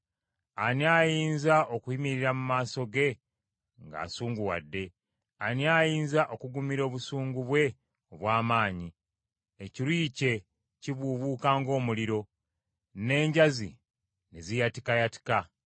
Ani ayinza okuyimirira mu maaso ge ng’asunguwadde? Ani ayinza okugumira obusungu bwe obw’amaanyi? Ekiruyi kye kibuubuuka ng’omuliro, n’enjazi n’eziyatikayatika.